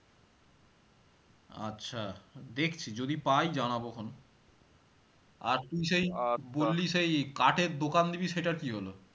আচ্ছা দেখছি যদি পাই জানাবো এখন আর তুই সেই বললি সেই কাঠের দোকান দিবি সেটার কি হলো